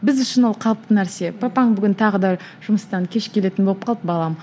біз үшін ол қалыпты нәрсе папаң бүгін тағы да жұмыстан кеш келетін болып қалды балам